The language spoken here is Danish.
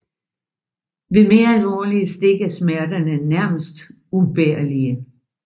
Ved mere alvorlige stik er smerterne nærmest ubærlige